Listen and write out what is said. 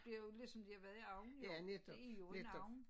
Det jo ligesom de har været i ovnen jo det jo en ovn